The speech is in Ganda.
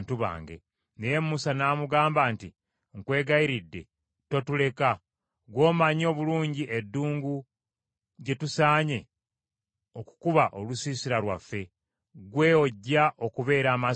Naye Musa n’amugamba nti, “Nkwegayiridde totuleka. Ggwe omanyi obulungi eddungu gye tusaanye okukuba olusiisira lwaffe, ggwe ojja okubeera amaaso gaffe.